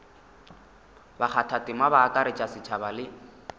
bakgathatema ba akaretša setšhaba le